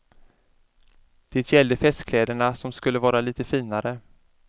Det gällde festkläderna som skulle vara lite finare.